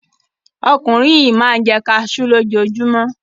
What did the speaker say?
Ọkùnrin yìí máa ń jẹ́ kaṣú lójoojúmọ́.